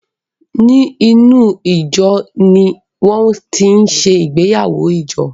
Ní inú ìjo ní wọn tin ṣe ìgbéyàwó ìjọ